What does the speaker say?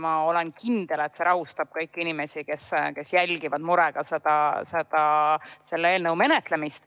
Ma olen kindel, et see rahustab kõiki inimesi, kes jälgivad murega selle eelnõu menetlemist.